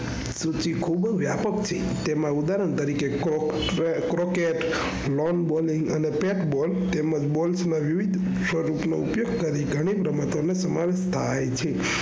વ્યાપક થી તેમાં ઉદાહરણ તરીકે kroket, loanballing અથવા patball તેમાં ball નો ઉપયોગ કરીને ગણી રમત નો સમાવેશ થાય છે.